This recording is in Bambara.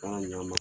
Taara ɲ'a ma